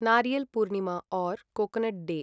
नारियल् पूर्णिमा ओर् coconut day